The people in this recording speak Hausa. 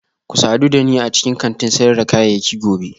Ku sadu da ni a cikin kantin sayar da kayayyaki gobe